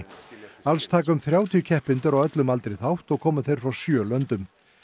alls taka um þrjátíu keppendur á öllum aldri þátt og koma þeir frá sjö löndum